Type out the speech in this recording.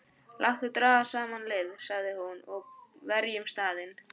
Láttu draga saman lið, sagði hún,-og verjum staðinn.